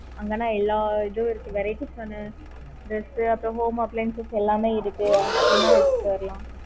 அங்க லாம் எல்லாம் இதுவே உம இருக்கு varieties